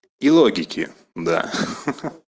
и логики да ха-ха